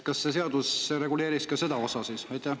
Kas see seadus reguleeriks ka seda?